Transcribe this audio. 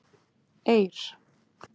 Eir